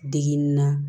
Degun na